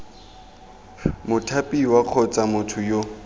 mothapiwa kgotsa b motho yo